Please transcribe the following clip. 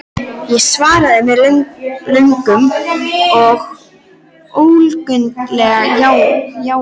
Ég svaraði með löngu og ólundarlegu jái.